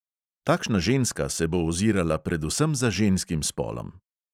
Takšna ženska se bo ozirala predvsem za ženskim spolom.